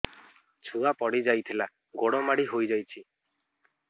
ଛୁଆ ପଡିଯାଇଥିଲା ଗୋଡ ମୋଡ଼ି ହୋଇଯାଇଛି